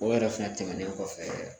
O yɛrɛ fɛnɛ tɛmɛnen kɔfɛ